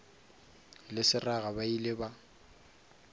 le seraga ba ile ba